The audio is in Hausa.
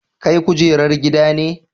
Kai kujerar gida ne.